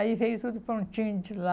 Aí veio tudo prontinho de lá.